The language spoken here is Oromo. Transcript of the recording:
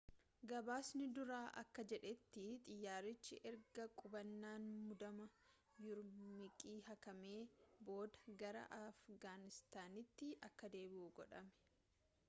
gabaasni duraa akka jedhetti xiyyaarichi erga qubannaan muddamaa yuurumqii haqamee booda gara afgaanistaanitti akka deebi'u godhame